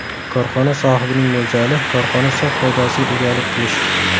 Korxona sohibining mo‘ljali – korxona sof foydasiga egalik qilish.